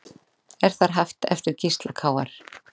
Er þar haft eftir Gísla Kr